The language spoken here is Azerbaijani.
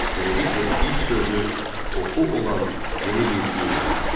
Beləliklə, ilk sözü oxu olan yeni bir din yarandı.